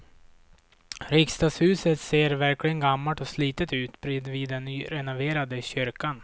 Riksdagshuset ser verkligen gammalt och slitet ut bredvid den nyrenoverade kyrkan.